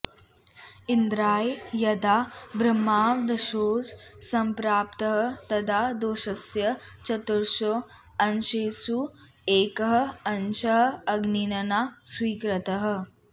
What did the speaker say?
इन्द्राय यदा ब्रह्मवधदोषः सम्प्राप्तः तदा दोषस्य चतुर्षु अंशेषु एकः अंशः अग्निना स्वीकृतः